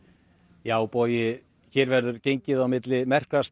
já Bogi hér verður gengið á milli merkra staða